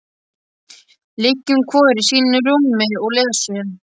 Liggjum hvor í sínu rúmi og lesum.